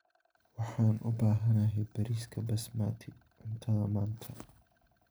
Waxaan u baahanahay bariiska basmati cuntada maanta.